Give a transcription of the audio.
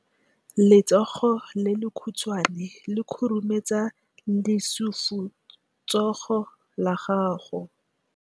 Letsogo le lekhutshwane le khurumetsa lesufutsogo la gago.